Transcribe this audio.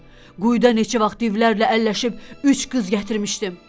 Quyuda neçə vaxt divlərlə əlləşib üç qız gətirmişdim.